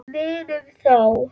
Munum þá.